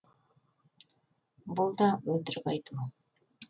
бұл да өтірік айту